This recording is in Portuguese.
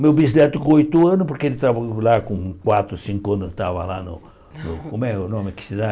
Meu bisneto com oito anos, porque ele estava lá com quatro, cinco anos, estava lá no no... Como é o nome que se dá?